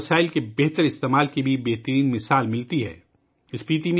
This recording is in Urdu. مقامی وسائل کے استعمال کی بہترین مثال اسپیتی میں ملتی ہے